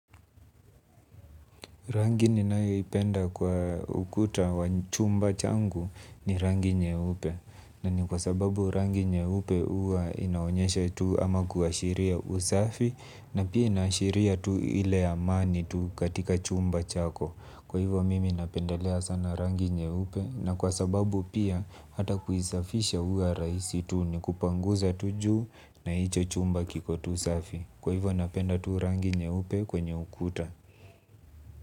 Rangi ninayoipenda kwa ukuta wa chumba changu ni rangi nyeupe. Na ni kwa sababu rangi nyeupe uwa inaonyesha tu ama kuashiria usafi na pia inaashiria tu ile amani tu katika chumba chako. Kwa hivyo mimi napendelea sana rangi nyeupe na kwa sababu pia hata kuisafisha huwa rahisi tu ni kupanguza tu juu na hicho chumba kiko tu safi. Kwa hivyo napenda tuu rangi nye upe kwenye ukuta.